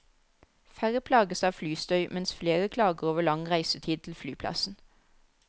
Færre plages av flystøy, mens flere klager over lang reisetid til flyplassen.